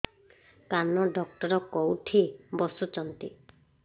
କାନ ଡକ୍ଟର କୋଉଠି ବସୁଛନ୍ତି